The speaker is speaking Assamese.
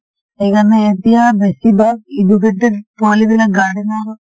সেই কাৰণে এতিয়া বেছিভাগ educated পোৱালী বিলাক garden ৰ